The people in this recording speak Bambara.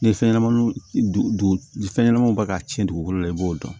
Ni fɛn ɲɛnamaniw fɛn ɲɛnamaninw bɛ ka ci dugukolo la i b'o dɔn